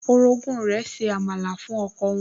Orogún rẹ̀ se àmàlà fún ọkọ wọn